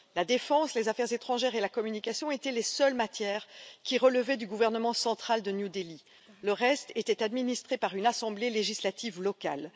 La défense, les affaires étrangères et la communication étaient les seules matières qui relevaient du gouvernement central de New Delhi, le reste était administré par une assemblée législative locale.